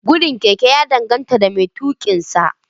Gudun keke ya danganta da mai tuƙinsa